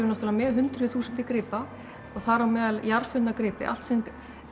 náttúrulega með hundruð þúsundir gripa og þar á meðal gripi allt sem